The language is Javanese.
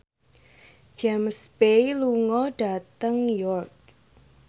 James Bay lunga dhateng York